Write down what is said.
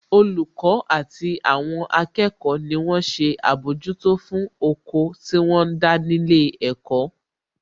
Olùkọ́ àti àwọn akẹ́kọ̀ọ́ ni wón ṣe àbójútó fún oko tí wọ́n ń dá ní ilé ẹ̀kọ́